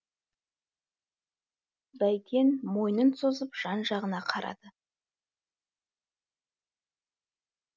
бәйтен мойнын созып жан жағына қарады